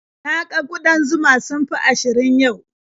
Na ga ƙudan zuma sun fi ashirin yau.